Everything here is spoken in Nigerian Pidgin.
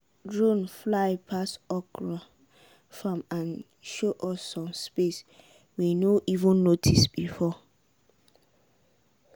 drone fly pass okra farm and show us some space we no even notice before.